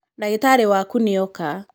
Ndagitarĩ waku nĩ oka.